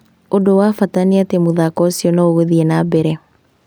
Ũndũ wa bata nĩatĩ mũthako ũcio noũgũthiĩ na mbere